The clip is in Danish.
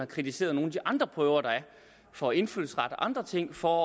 kritiseret nogle af de andre prøver der er for indfødsret og andre ting for